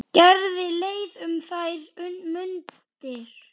Gerði leið um þær mundir.